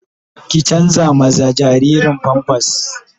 Ki canza jaririn "pampers "